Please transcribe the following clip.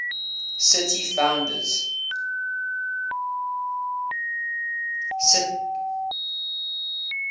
city founders